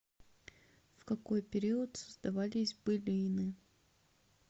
в какой период создавались былины